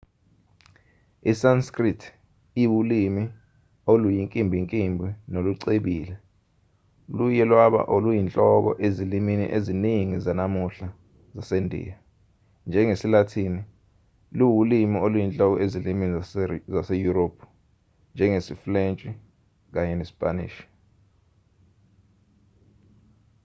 i-sanskrit iwulimi oluyinkimbinkimbi nolucebile luye lwaba oluyinhloko ezilimini eziningi zanamuhla zasendiya njengesi-lathini luwulimi oluyinhloko ezilimini zaseyurophu njengesifulentshi kanye nesipanishi